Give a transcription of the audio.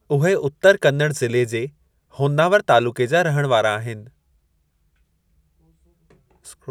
उहे उत्तर कन्नड़ ज़िले जे होन्नावर तालुक़े जा रहिणु वारा आहिनि।